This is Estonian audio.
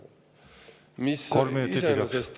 Kolm minutit lisaks.